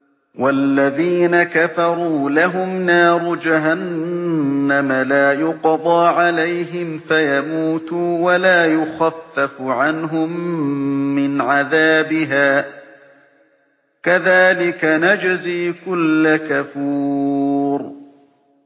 وَالَّذِينَ كَفَرُوا لَهُمْ نَارُ جَهَنَّمَ لَا يُقْضَىٰ عَلَيْهِمْ فَيَمُوتُوا وَلَا يُخَفَّفُ عَنْهُم مِّنْ عَذَابِهَا ۚ كَذَٰلِكَ نَجْزِي كُلَّ كَفُورٍ